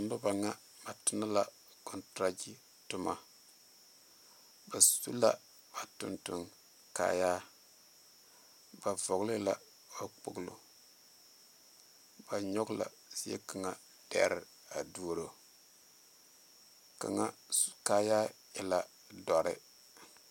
Noba ŋa ba tona la kɔntoragye toma ba su la ba tontonkaayaa ba vɔgle la ba kpoglo ba nyɔge la zie kaŋa dɛre a duoro kaŋa kaayaa e la dɔre.